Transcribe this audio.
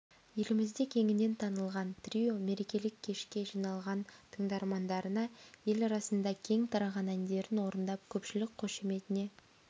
елімізде кеңінен танылған трио мерекелік кешке жиналған тыңдармандарына ел арасында кең тараған әндерін орындап көпшілік қошеметіне